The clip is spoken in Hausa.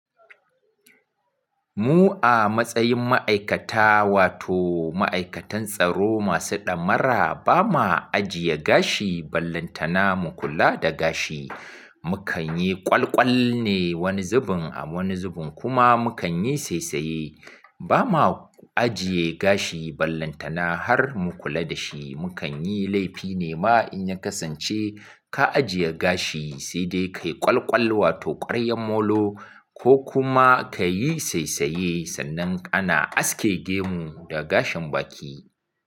Mu a matsayin ma'aikata wato ma'aikatan tsaro masu ɗamara ba ma ajiye gashi ballantana mu kula da gashi. Mukan yi ƙwalƙwal ne wani zubin a wani zubin kuma mu kan yi saisaye. Ba ma ajiye gashi ballantana har mu kula da shi. Mu kan yi laifi ne ma in ya kasance ka ajiye gashi sai dai ka yi ƙwalƙwal wato ƙwaryan molo ko kuma kayi saisaye sannan ana aske gemu da gashin baki.